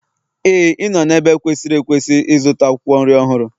Éè, ị nọ n'ebe kwesịrị ekwesị ịzụta akwụkwọ nri ọhụrụ.